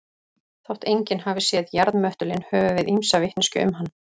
Þótt enginn hafi séð jarðmöttulinn höfum við ýmsa vitneskju um hann.